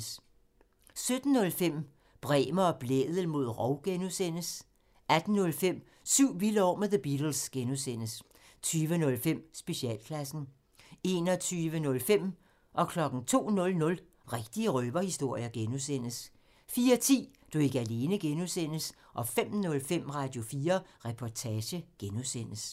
17:05: Bremer og Blædel mod rov (G) 18:05: Syv vilde år med The Beatles (G) 20:05: Specialklassen 21:05: Rigtige røverhistorier (G) 02:00: Rigtige røverhistorier (G) 04:10: Du er ikke alene (G) 05:05: Radio4 Reportage (G)